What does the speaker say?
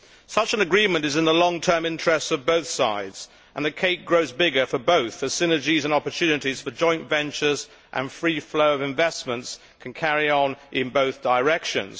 Such an agreement is in the long term interests of both sides, and the cake grows bigger for both as synergies and opportunities for joint ventures and free flow of investments can carry on in both directions.